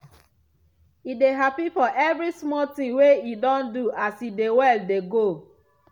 e dey happy for every small ting wey e don do as e dey well dey go.